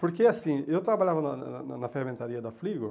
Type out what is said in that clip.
Porque assim, eu trabalhava na na na ferramentaria da Fligor,